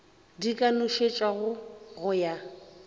di ka nošetšwago go ya